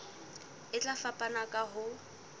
e tla fapana ka ho